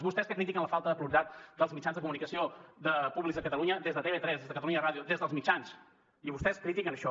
vostès que critiquen la falta de pluralitat dels mitjans de comunicació públics de catalunya des de tv3 des de catalunya ràdio des dels mitjans i vostès critiquen això